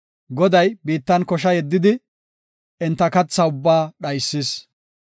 Goday biittan kosha yeddidi, enta kathaa ubbaa dhaysis.